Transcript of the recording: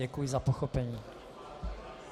Děkuji za pochopení.